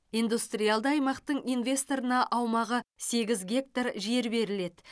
индустриалды аймақтың инвесторына аумағы сегіз гектар жер беріледі